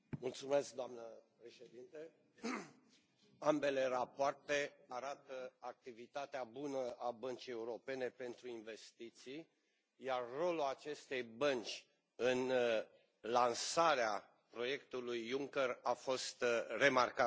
Doamnă președintă, ambele rapoarte arată activitatea bună a Băncii Europene de Investiții, iar rolul acestei bănci în lansarea proiectului Juncker a fost remarcabil.